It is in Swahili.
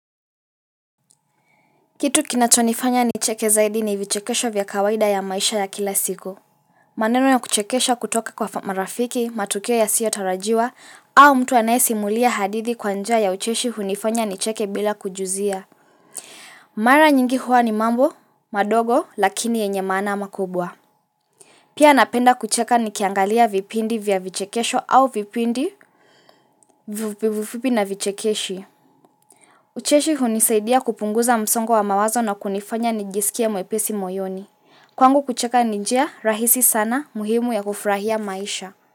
Kitu kinachonifanya nicheke zaidi ni vichekesho vya kawaida ya maisha ya kila siku. Maneno ya kuchekesha kutoka kwa marafiki, matukeo ya siyo tarajiwa, au mtu anaisi mulia hadithi kwanja ya ucheshi hunifanya ni cheke bila kujuzia. Mara nyingi huwa ni mambo, madogo, lakini yenye maana makubwa. Pia napenda kucheka nikiangalia vipindi vya vichekesho au vipindi na vichekeshi. Ucheshi hunisaidia kupunguza msongo wa mawazo na kunifanya nijisikie mwepesi moyoni. Kwangu kucheka ni njia rahisi sana muhimu ya kufurahia maisha.